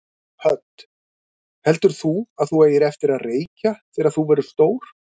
Hödd: Heldur þú að þú eigir eftir að reykja þegar þú verður stór?